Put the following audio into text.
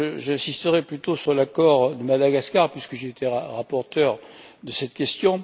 J'insisterai plutôt sur l'accord de Madagascar puisque j'ai été rapporteur sur cette question.